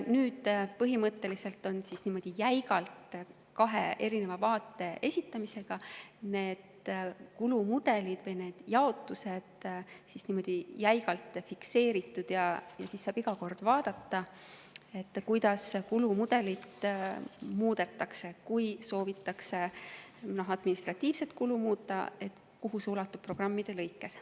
Põhimõtteliselt on kahe erineva vaate esitamisega need kulumudelid või need jaotused jäigalt fikseeritud ja siis saab iga kord vaadata, kuidas kulumudelit muudetakse, kui soovitakse administratiivset kulu muuta, et kuhu see ulatub programmide lõikes.